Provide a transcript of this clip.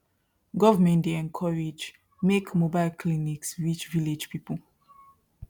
government dey encourage make mobile clinics reach village people